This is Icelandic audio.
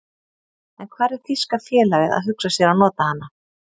En hvar er þýska félagið að hugsa sér að nota hana?